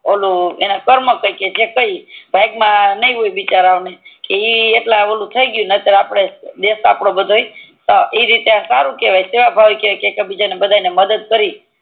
ઓલું એના કર્મ કે ને હોય બિચારા ના ઈ એટલે થી ગયું ની તો દેશ આપડે બધો ઈ રીતે સારું કેવાય સેવ ભાવિ કેવાય કે ઈ રીતે આપડે બધા ને મદદ કરી